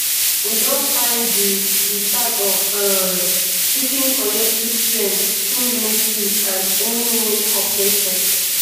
we don find di di path of um seeking collective strength through unity and winwin cooperation